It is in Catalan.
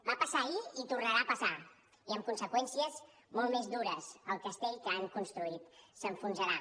va passar ahir i tornarà a passar i amb conseqüències molt més dures el castell que han construït s’enfonsarà